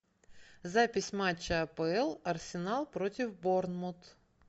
запись матча апл арсенал против борнмут